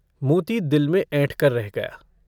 मोती दिल में ऐंठकर रह गया।